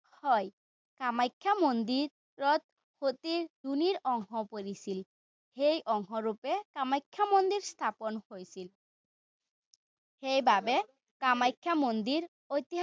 হয়। কামাখ্যা মন্দিৰত সতীৰ যোনীৰ অংশ পৰিছিল। এই অংশৰূপে কামাখ্যা মন্দিৰ স্থাপন হৈছিল। সেইবাবে কামাখ্যা মন্দিৰ ঐতিহ্যপূৰ্ণ